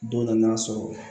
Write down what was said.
Don nan'a sɔrɔ